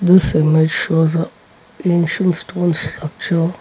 this image shows a ancient stone structure.